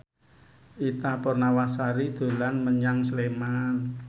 Ita Purnamasari dolan menyang Sleman